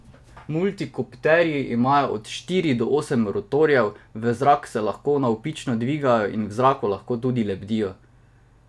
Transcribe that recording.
Multikopterji imajo od štiri do osem rotorjev, v zrak se lahko navpično dvigajo in v zraku lahko tudi lebdijo.